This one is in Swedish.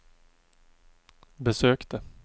besökte